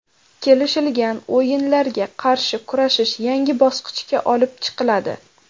Kelishilgan o‘yinlarga qarshi kurashish yangi bosqichga olib chiqiladi.